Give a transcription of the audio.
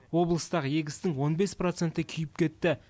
облыстағы егістің он бес проценті күйіп кетті